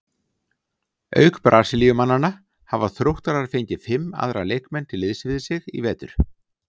Auk Brasilíumannanna hafa Þróttarar fengið fimm aðra leikmenn til liðs við sig í vetur.